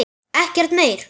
Ekkert meir.